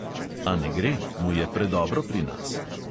A ne gre, mu je predobro pri nas.